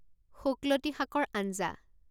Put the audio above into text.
শুকলতি শাকৰ আঞ্জা